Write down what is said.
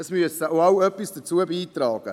Es müssen auch alle etwas dazu beitragen.